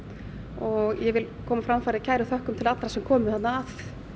og ég vil koma á framfæri kærum þökkum til allra sem komu þarna